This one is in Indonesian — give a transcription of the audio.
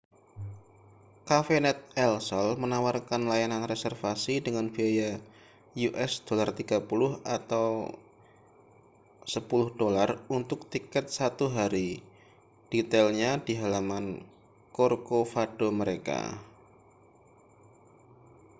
cafenet el sol menawarkan layanan reservasi dengan biaya us $30 atau $10 untuk tiket satu hari detailnya di halaman corcovado mereka